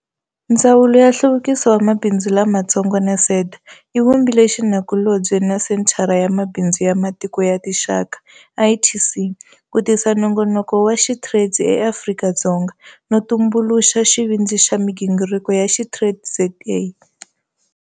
Ndzawulo ya Nhluvukiso wa Mabindzu Lamatsongo na SEDA yi vumbile xinakulobye na Senthara ya Mabindzu ya Matiko ya Tinxaka, ITC, ku tisa nongonoko wa SheTrades eAfrika-Dzonga, no tumbuluxa xivindzi xa migingiriko ya SheTradesZA.